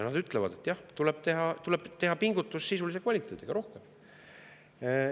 Nad ütlevad, et jah, tuleb teha rohkem pingutusi sisulise kvaliteedi heaks.